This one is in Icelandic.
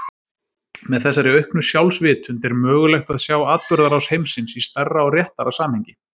Með þessari auknu sjálfsvitund er mögulegt að sjá atburðarás heimsins í stærra og réttara samhengi.